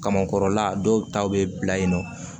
Kamankɔrɔla dɔw ta bɛ bila yen nɔ